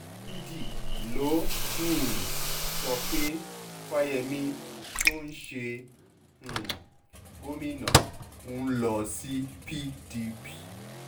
ojúdi ló um sọ pé fáyemí tó ń ṣe um gómìnà ń lọ sí pdp